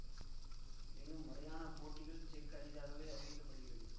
எனினும் முறையான போட்டிகள் செக் அரிதாகவே அறிவிக்க படுகிறது